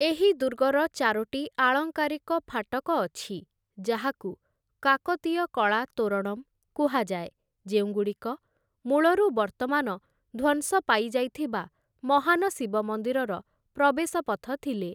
ଏହି ଦୁର୍ଗର ଚାରୋଟି ଆଳଙ୍କାରିକ ଫାଟକ ଅଛି, ଯାହାକୁ କାକତୀୟ କଳା ତୋରଣମ୍ କୁହାଯାଏ, ଯେଉଁଗୁଡ଼ିକ ମୂଳରୁ ବର୍ତ୍ତମାନ ଧ୍ୱଂସ ପାଇଯାଇଥିବା ମହାନ ଶିବ ମନ୍ଦିରର ପ୍ରବେଶ ପଥ ଥିଲେ ।